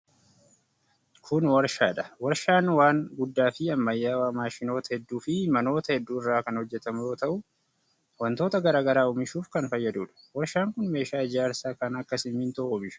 kun warshaa dha. Warshaan waan guddaa fi ammayyawaa maashinoota hedduu fi manoota hedduu irraa kan hojjatamu yoo ta'u, wantoota garaa garaa oomishuuf kan fayyaduu dha. Warshaan kun meeshaa ijaarsaa kan akka simiintoo oomisha.